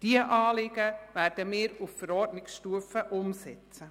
Diese Anliegen werden wir auf Verordnungsstufe umsetzen.